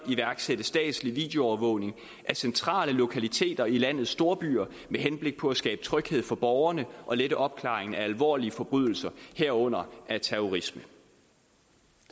iværksætte statslig videoovervågning af centrale lokaliteter i landets storbyer med henblik på at skabe tryghed for borgerne og lette opklaring af alvorlige forbrydelser herunder af terrorisme